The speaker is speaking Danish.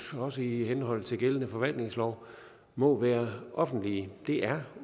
også i henhold til gældende forvaltningslov må være offentlige det er